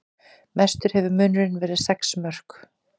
Mestur hefur munurinn verið sex mörk